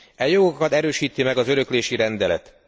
E jogokat erősíti meg az öröklési rendelet.